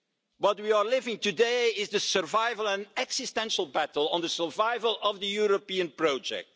What we are living today is the survival and existential battle over the survival of the European project.